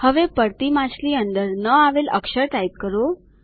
હવે પડતી માછલી અંદર ન આવેલ અક્ષર ટાઇપ કરો